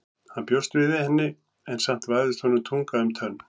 Hann bjóst við henni en samt vafðist honum tunga um tönn.